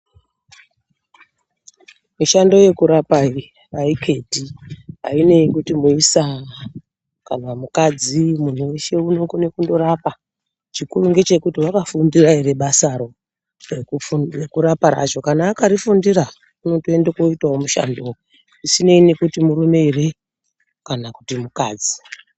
Mushando yekurapa iyi ayiketi, ainei nekuti muisa kana mukadzi. Muntu weshe unokone kundorapa, chikuru ndechekuti wakafundira ere basaro rekuraparo. Kana akarifundira unotoenda koita mushandowo zvisinei kuti murume ere kana kuti mukadzi.